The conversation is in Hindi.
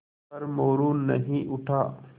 पर मोरू नहीं उठा